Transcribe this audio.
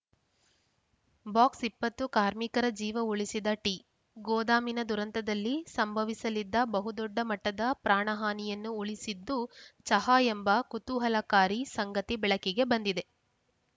ಬಾಕ್ಸ್‌ಇಪ್ಪತ್ತು ಕಾರ್ಮಿಕರ ಜೀವ ಉಳಿಸಿದ ಟೀ ಗೋದಾಮಿನ ದುರಂತದಲ್ಲಿ ಸಂಭವಿಸಲಿದ್ದ ಬಹುದೊಡ್ಡ ಮಟ್ಟದ ಪ್ರಾಣಹಾನಿಯನ್ನು ಉಳಿಸಿದ್ದು ಚಹಾ ಎಂಬ ಕುತೂಹಲಕಾರಿ ಸಂಗತಿ ಬೆಳಕಿಗೆ ಬಂದಿದೆ